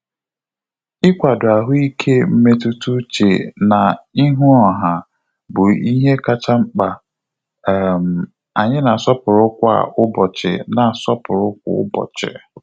Ikwado ahụike mmetụta uche na-ihu ọha bụ ihe kacha mkpa um anyi na-asọpụrụ kwa ụbọchị na-asọpụrụ kwa ụbọchị